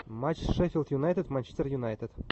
матч шеффилд юнайтед манчестер юнайтед